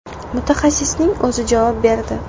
Mutaxassisning o‘zi javob berdi.